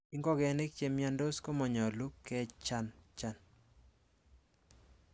Ingogenik che miondos komonyolu kechanchan.